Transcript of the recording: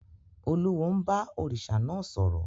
Olúwo ń bá òrìṣà náà sọ̀rọ̀.